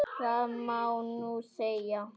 Það má nú segja.